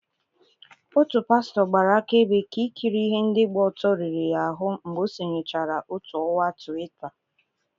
Otu pastọ gbara akaebe ka ikiri ihe ndị gba ọtọ riri ya ahụ mgbe o sonyechara otu ọwa Twitaa.